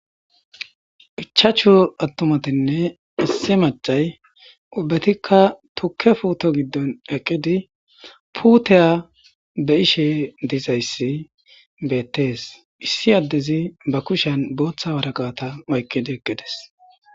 ichaachu attumatinne issi macay ubbatikka tukke puuto giddon eqqidi puuteya be ishe dizayssi beettees issi addezi ba kushen booththa waraqata mayqqidi eqqides